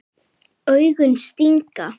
Augun stinga.